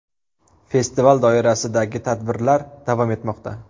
Festival doirasidagi tadbirlar davom etmoqda.